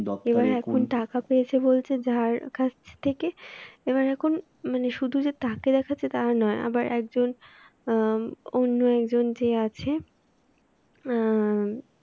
এবার এখন টাকা পেয়েছে বলতে যার কাছ থেকে এবার এখন মানে শুধু যে তাকে দেখাচ্ছে তা নয় আবার একজন অ্যাঁ অন্য একজন যে আছে অ্যাঁ